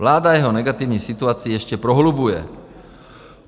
Vláda jeho negativní situaci ještě prohlubuje.